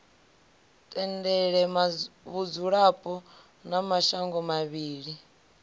tendele vhudzulapo ha mashango mavhili